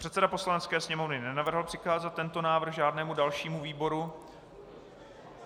Předseda Poslanecké sněmovny nenavrhl přikázat tento návrh žádnému dalšímu výboru.